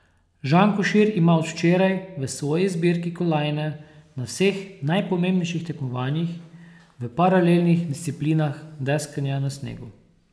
Žan Košir ima od včeraj v svoji zbirki kolajne na vseh najpomembnejših tekmovanjih v paralelnih disciplinah deskanja na snegu.